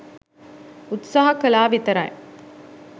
උත්සාහ කලා විතරයි.